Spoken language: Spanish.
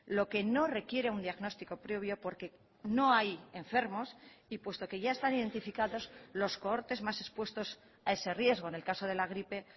lo que no requiere un diagnóstico previo porque no hay enfermos y puesto que ya están identificados los cohortes más expuestos a ese riesgo en el caso de la gripe